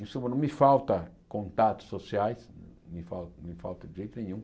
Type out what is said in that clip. Em suma, não me falta contatos sociais, não me falta não me falta de jeito nenhum.